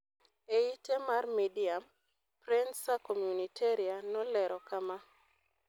E ite mar Medium, Prensa Comunitaria nolero kama: